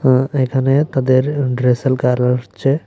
উম এখানে তাদের হচ্ছে।